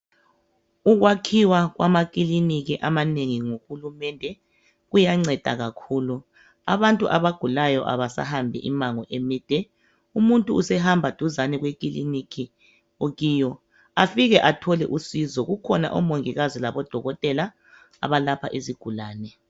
Ukwakhiwa kwamakiliki amanengi nguhulumende kuyanceda kakhulu, abantu abagulayo abasahambi imango emide, umuntu usehamba duzane kwekiliniki okiyo afike athole usizo kukhona omongikazi labo odokotela abalapha izigulani.